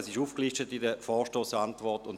diese sind in der Vorstossantwort aufgelistet.